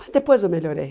Mas depois eu melhorei.